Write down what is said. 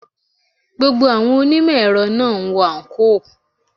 Gbogbo àwọn onímò èrọ náà ń wọ àǹkóò.